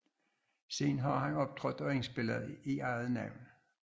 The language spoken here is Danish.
Siden har han optrådt og indspillet i eget navn